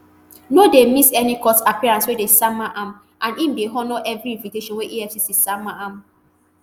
no dey miss any court appearance wey dem sama am and im dey honour everi invitation wey efcc sama am